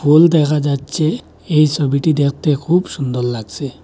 ফোল দেখা যাচ্ছে এই ছবিটি দেখতে খুব সুন্দর লাগছে।